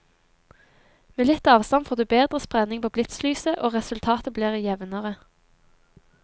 Med litt avstand får du bedre spredning på blitzlyset, og resultatet blir jevnere.